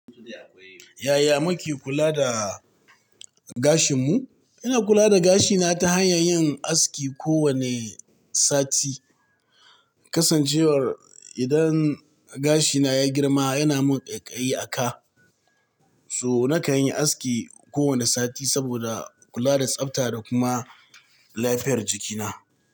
Yaya muke kula da gashinmu? Ina kula da gashina ta hanyar yin aski kowane sati. Kasancewar idan gashina ya girma yana min ƙaiƙayi a ka, so na kan yi aski kowane sati saboda kula da tsafta da kuma lafiyar jikina.